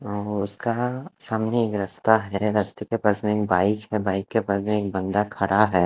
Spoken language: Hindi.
और उसका सामने एक रास्ता है रास्ते के पास में बाइक है बाइक के पास में एक बंदा खड़ा है।